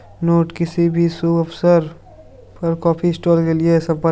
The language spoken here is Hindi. नोट किसी भी शुभ अवसर पर काफी स्टॉल के लिए संपर्क--